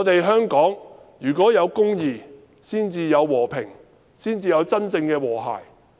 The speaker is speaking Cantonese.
香港要有公義，才會有和平及真正的和諧。